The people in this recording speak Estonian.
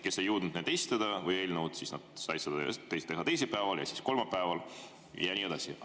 Kes ei jõudnud arupärimisi või eelnõusid esitada, said seda teha teisipäeval, kolmapäeval ja nii edasi.